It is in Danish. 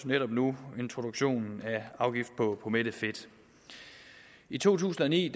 netop nu introduktionen af afgift på mættet fedt i to tusind og ni